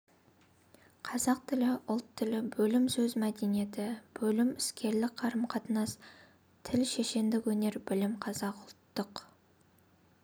қазақ тілі ұлт тілі бөлім сөз мәдениеті бөлім іскерлік қарымқатынас тілі шешендік өнер бөлім қазақ ұлттық